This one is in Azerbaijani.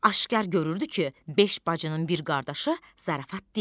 Aşkar görürdü ki, beş bacının bir qardaşı zarafat deyil.